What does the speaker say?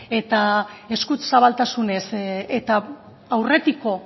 eta eskuzabaltasunez eta aurretiko